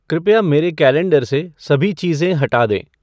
कृपया मेरे कैलेंडर की सभी चीज़ें हटा दें